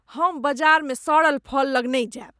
हम बाजार मे सड़ल फल लग लेल नहि जायब।